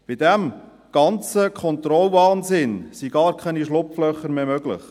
Bei diesem ganzen Kontrollwahnsinn sind gar keine Schlupflöcher mehr möglich.